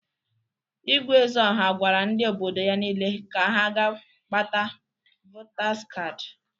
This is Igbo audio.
Igwe Ezeọha gwara ndị obodo ya niile ka ha ga-gbata votaz kadị.